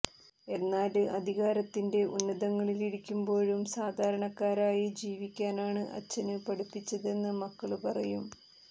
എന്നാല് അധികാരത്തിന്റെ ഉന്നതങ്ങളിലിരിക്കുമ്പോഴും സാധാരണക്കാരായി ജീവിക്കാനാണ് അച്ഛന് പഠിപ്പിച്ചതെന്ന് മക്കള് പറയും